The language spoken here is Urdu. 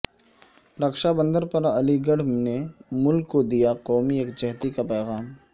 رکشا بندھن پرعلی گڑھ نے ملک کو دیا قومی یکجہتی کا پیغام